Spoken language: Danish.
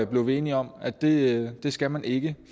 blev vi enige om at det skal man ikke